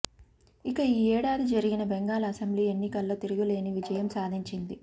ఇక ఈ ఏడాది జరిగిన బెంగాల్ అసెంబ్లీ ఎన్నికల్లో తిరుగులేని విజయం సాధించింది